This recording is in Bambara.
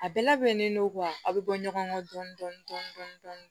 A bɛɛ labɛnnen don aw be bɔ ɲɔgɔn kɔ dɔɔnin dɔɔnin